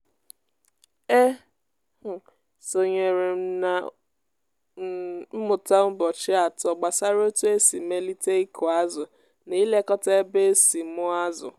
e um sonyere m na um mmụta ụbọchị atọ gbasara otu esi melite ịkụ azụ na ilekọta ebe e si mụọ azụ.